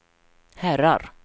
herrar